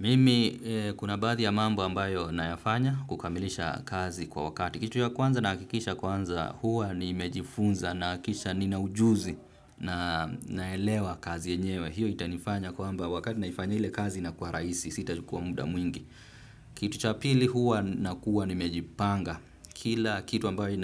Mimi kuna baadhi ya mambo ambayo nayafanya kukamilisha kazi kwa wakati. Kitu ya kwanza nahakikisha kwanza huwa nimejifunza na kisha ni naujuzi na naelewa kazi yenyewe. Hio itanifanya kwamba wakati naifanya ile kazi na kuwa rahisi sitajukua mda mwingi. Kitu cha pili huwa nakuwa ni mejipanga. Kila kitu ambayo